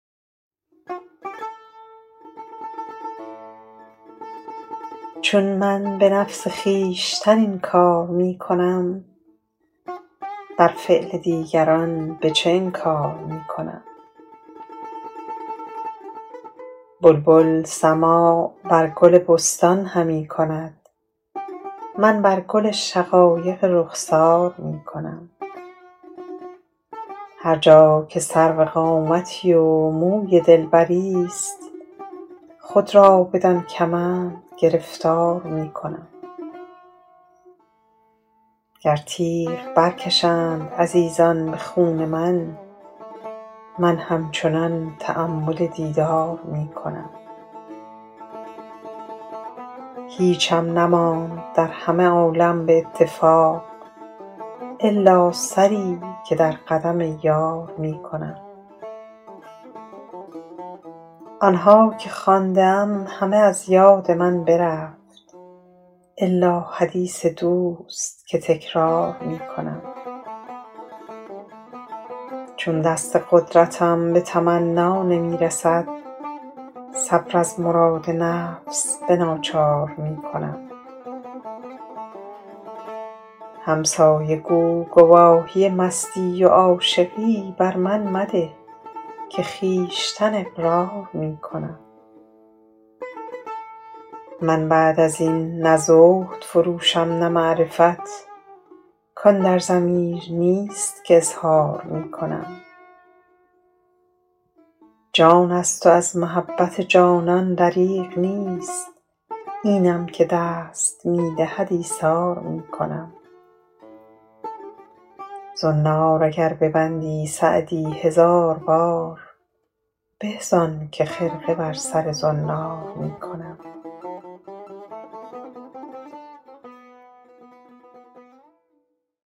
چون من به نفس خویشتن این کار می کنم بر فعل دیگران به چه انکار می کنم بلبل سماع بر گل بستان همی کند من بر گل شقایق رخسار می کنم هر جا که سرو قامتی و موی دلبریست خود را بدان کمند گرفتار می کنم گر تیغ برکشند عزیزان به خون من من همچنان تأمل دیدار می کنم هیچم نماند در همه عالم به اتفاق الا سری که در قدم یار می کنم آن ها که خوانده ام همه از یاد من برفت الا حدیث دوست که تکرار می کنم چون دست قدرتم به تمنا نمی رسد صبر از مراد نفس به ناچار می کنم همسایه گو گواهی مستی و عاشقی بر من مده که خویشتن اقرار می کنم من بعد از این نه زهد فروشم نه معرفت کان در ضمیر نیست که اظهار می کنم جان است و از محبت جانان دریغ نیست اینم که دست می دهد ایثار می کنم زنار اگر ببندی سعدی هزار بار به زان که خرقه بر سر زنار می کنم